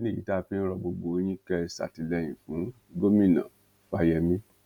ìdí nìyí tá a fi ń rọ gbogbo yín kẹ ẹ ṣàtìlẹyìn fún gómìnà fáyemí